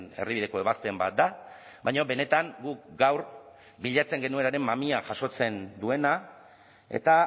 erdibideko ebazpen bat da baina benetan guk gaur bilatzen genuenaren mamia jasotzen duena eta